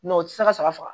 o tɛ se ka saga faga